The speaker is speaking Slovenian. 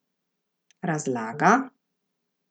Razlaga?